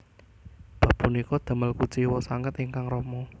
Bab punika damel kuciwa sanget ingkang rama